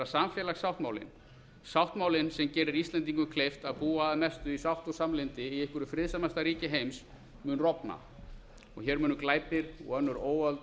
samfélagssáttmálinn sáttmálinn sem gerir íslendingum kleift að búa að mestu í sátt og samlyndi í einhverju friðsamasta ríki heims mun rofna og hér munu glæpir og önnur óöld